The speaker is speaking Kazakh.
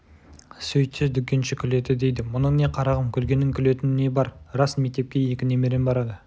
сөйтсе дүкенші күледі дейді мұның не қарағым күлгенің күлетін не бар рас мектепке екі немерем барады